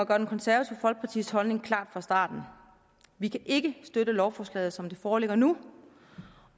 konservative folkepartis holdning klar fra starten vi kan ikke støtte lovforslaget som det foreligger nu